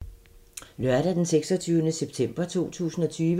Lørdag d. 26. september 2020